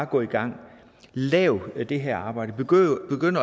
gå i gang lav det her arbejde begynd